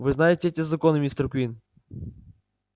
вы знаете эти законы мистер куинн